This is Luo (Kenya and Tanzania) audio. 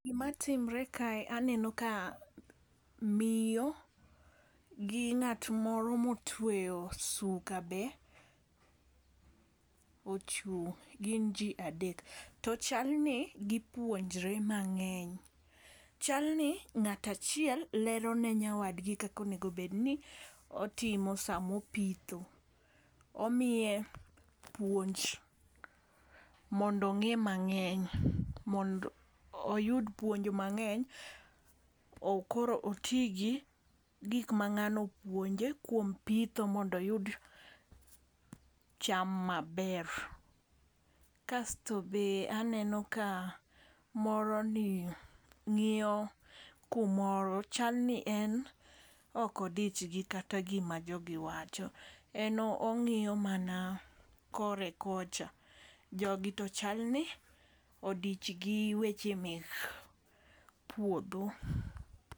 Gima timre kae aneno ka miyo gi ng'at moro motweyo suka be ochung' gin jii adek . Tochal ni gipuonjre mang'eny .Chal ni ng'at achiel lero ne nyawadgi kakonego bed ni otimo samo pitho. Omiye puonj mondo ong'e mang'eny mond oyud puonj mang'eny koro oti gi gik ma ng'ano opuonje kuom pitho mondo oyud cham maber. Kasto be aneno ka moro ni ng'iyo kumoro chalni en ok odich gi kata gima jogi wacho en ong'iyo mana kore kocha. Jogi to chal ni odich gi weche mek puodho.